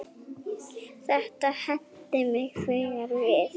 Þetta henti mig þegar við